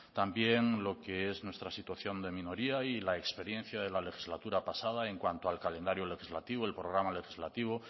también lo que es nuestra situación de minoría y la experiencia de la legislatura pasada en cuanto al calendario legislativo el programa legislativo